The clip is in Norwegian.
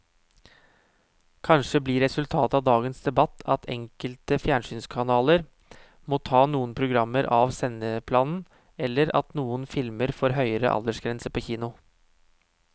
Kanskje blir resultatet av dagens debatt at enkelte fjernsynskanaler må ta noen programmer av sendeplanen eller at noen filmer får høyere aldersgrense på kino.